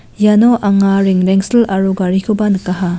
iano anga rengrengsil aro garikoba nikaha.